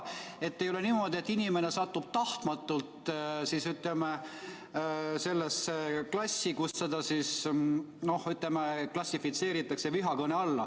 Et ei oleks niimoodi, et inimene satub tahtmatult sellesse gruppi, kelle öeldut klassifitseeritakse vihakõnena.